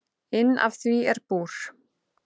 Inn af því er búr.